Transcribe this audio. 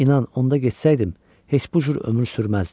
İnan, onda getsəydim, heç bu cür ömür sürməzdim.